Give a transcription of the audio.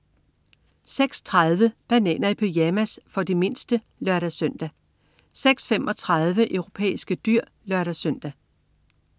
06.30 Bananer i pyjamas. For de mindste (lør-søn) 06.35 Europæiske dyr (lør-søn)